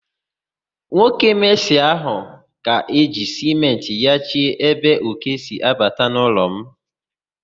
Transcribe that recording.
Nwoke mesịn ga-eji sịmentị nyachie ébé òké si abata n'ụlọ m.